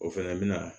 O fɛnɛ bɛna